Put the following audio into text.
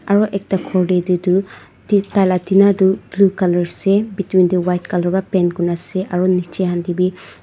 aru ekta khor tae tu taila tina tu blue colour ase between tae white colour pra paint kurna ase aro nichae tae bi--